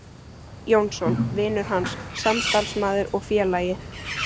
Jónsson: vinur hans, samstarfsmaður og félagi.